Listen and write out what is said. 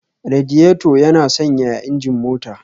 Radiator yana sanyaya injin mota